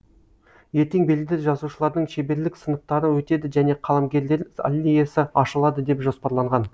ертең белді жазушылардың шеберлік сыныптары өтеді және қаламгерлер аллеясы ашылады деп жоспарланған